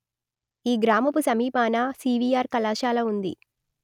ఈ గ్రామపు సమీపాన సివీఅర్ కళాశాల ఉన్నది